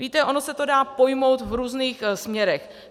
Víte, ono se to dá pojmout v různých směrech.